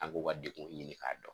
An k'u ka dekunw ɲini k'a dɔn